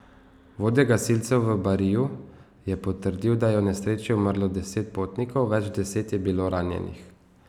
Vodja gasilcev v Bariju je potrdil, da je v nesreči umrlo deset potnikov, več deset je bilo ranjenih.